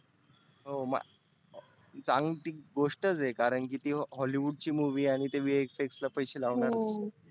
हो मा चांगली गोष्टच आहे, कारण की ती hollywood ची movie आणि ते VFX ला पैसे लावतात